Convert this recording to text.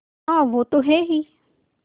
हाँ वो तो हैं ही